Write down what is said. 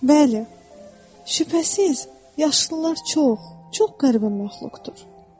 Bəli, şübhəsiz, yaşlılar çox qəribə məxluqdur.